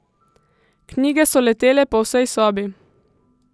Knjige so letele po vsej sobi.